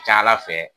Ca ala fɛ